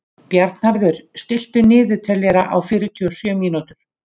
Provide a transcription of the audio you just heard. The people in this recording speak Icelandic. Bjarnharður, stilltu niðurteljara á fjörutíu og sjö mínútur.